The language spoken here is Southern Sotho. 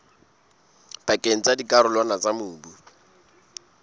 pakeng tsa dikarolwana tsa mobu